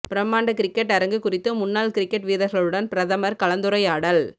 பிரம்மாண்ட கிரிக்கெட் அரங்கு குறித்து முன்னாள் கிரிக்கெட் வீரர்களுடன் பிரதமர் கலந்துரையாடல்